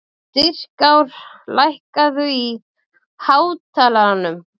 Styrkár, lækkaðu í hátalaranum.